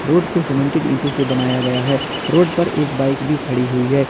Road को cemented ईंटों से बनाया गया है रोड पर एक बाइक भी खड़ी हुई है।